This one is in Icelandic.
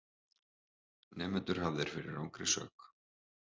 Nemendur hafðir fyrir rangri sök